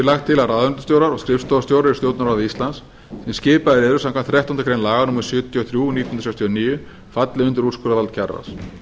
lagt til að ráðuneytisstjórar og skrifstofustjórar í stjórnarráði íslands sem skipaðir eru samkvæmt þrettándu grein laga númer sjötíu og þrjú nítján hundruð sextíu og níu falli undir úrskurðarvald kjararáðs